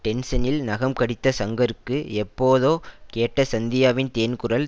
டென்சனில் நகம் கடித்த ஷங்கருக்கு எப்போதோ கேட்ட சந்தியாவின் தேன்குரல்